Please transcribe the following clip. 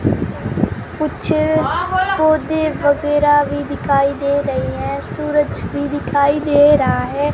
कुछ पौधे वगैराह भी दिखाई दे रही हैं सूरज भी दिखाई दे रहा है।